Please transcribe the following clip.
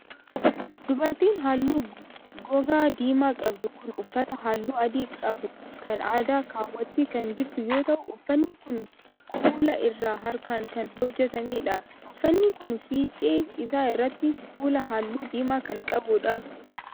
Dubartiin haalluu gogaa diimaa qabdu kun, uffata haalluu adii qabu kan aadaa kaawwattee kan jirtu yoo ta'u, uffanni kun kuula irraa harkaan kan hojjatamee dha. Uffanni kun, fiixee isaa irratti kuula haalluu diimaa kan qabuu dha.